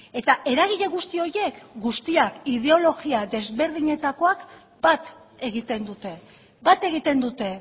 eta eragile guzti horiek guztiak ideologia desberdinetakoak bat egiten dute bat egiten dute